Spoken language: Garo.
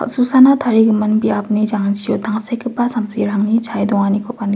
kal·susana tarigimin biapni jangchio tangsekgipa samsirangni chae donganikoba nik--